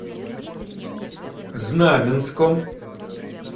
знаменском